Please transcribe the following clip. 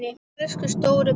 Elsku stóri bróðir.